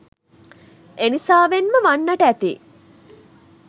එනිසාවෙන්ම වන්නට ඇති